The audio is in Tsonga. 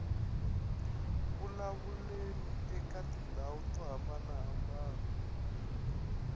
vulavuleni eka tindhawu to hambanahambana